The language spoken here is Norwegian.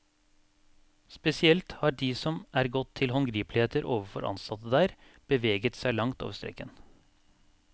Spesielt har de som er gått til håndgripeligheter overfor ansatte der, beveget seg langt over streken.